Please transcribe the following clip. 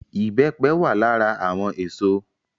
Ìbẹ́pẹ wà lára àwọn èso